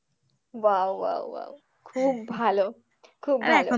wow wow wow খুব ভালো খুব ভালো